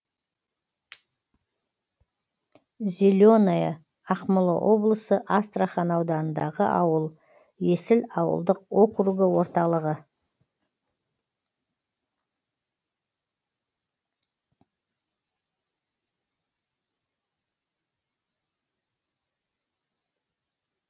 зеленое ақмола облысы астрахан ауданындағы ауыл есіл ауылдық округі орталығы